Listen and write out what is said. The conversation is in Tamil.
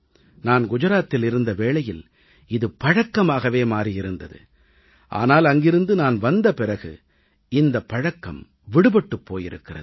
நான் குஜராத்தில் இருந்த வேளையில் இது பழக்கமாகவே மாறியிருந்தது ஆனால் அங்கிருந்து நான் வந்த பிறகு இந்தப் பழக்கம் விடுபட்டுப் போயிருக்கிறது